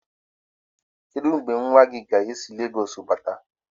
Kedụ mgbe nwanne gị nwoke ga-esi Legoosu bata?